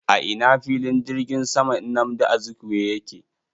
A ina filin jirgin saman nnamdi Azikiwe yake?